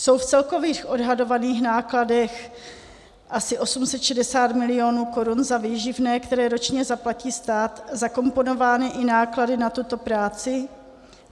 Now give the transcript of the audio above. Jsou v celkových odhadovaných nákladech asi 860 milionů korun za výživné, které ročně zaplatí stát zakomponovány i náklady na tuto práci?